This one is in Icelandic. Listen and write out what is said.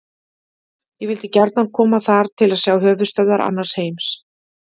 Ég vildi gjarnan koma þar til að sjá höfuðstöðvar annars heims.